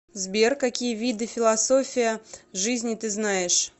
сбер какие виды философия жизни ты знаешь